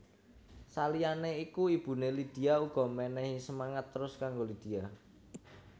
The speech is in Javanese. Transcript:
Saliyané iku ibuné Lydia uga menehi semangat terus kanggo Lydia